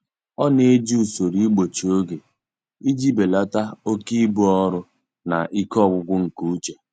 Ọ na-eji usoro igbochi oge iji belata oke ibu ọrụ na ike ọgwụgwụ nke uche.